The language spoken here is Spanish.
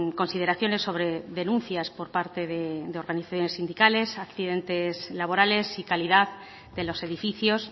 consideraciones sobre denuncias por parte de organizaciones sindicales accidentes laborales y calidad de los edificios